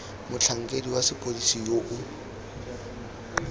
motlhankedi wa sepodisi yo o